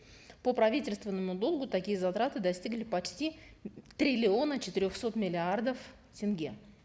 по правительственному долгу такие затраты достигли почти триллиона четырехсот миллиардов тенге